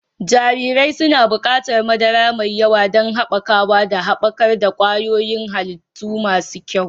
Jarirai suna buƙatar madara mai yawa don haɓakawa da haɓakar ƙwayoyin halitta masu kyau.